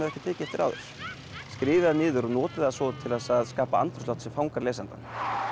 ekki tekið eftir áður skrifið það niður og notið það svo til þess að skapa andrúmsloft sem fangar lesandann